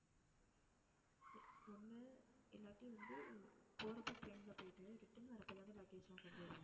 ஒண்ணு இல்லாட்டி வந்து போறப்ப train ல போயிட்டு return வர்றப்போ தானே luggage எல்லாம் கொண்டு வருவோம்.